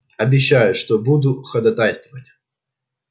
обещаю что буду ходатайствовать